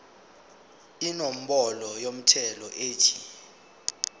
inombolo yomthelo ethi